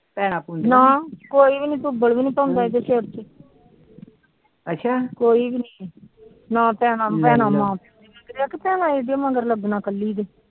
ਭੈਣਾ ਕੋਈ ਵੀ ਨੀ ਅੱਛ ਕੋਈ ਵੀ ਨੀ ਮਗਰ ਲੱਗਣਾ